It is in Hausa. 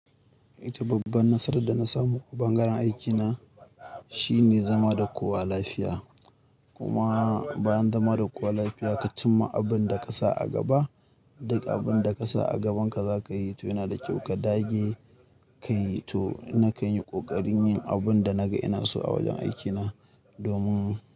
Ita babban nasara da na samu a bangaren aikina, shine zama da kowa lafiya. Kuma bayan zama da kowa lafiya ka cimma abin da ka sa a gaba, duk abin da ka sa a gabanka za ka yi toh yana da kyau ka dage ka yi. Toh na kan yi ƙoƙarin yin abin da naga ina so a wajen aikina domin.